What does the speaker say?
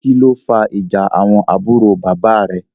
kilo fà ìjà àwọn àbúrò bàbá rẹ?